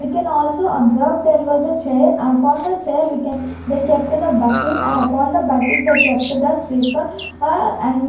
We can also observe there was a chair upon the chair we can they kept the bucket and upon the bucket they kept the sweeper er and --